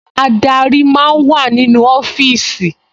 Adarí máa ń wà nínú ọfíìsì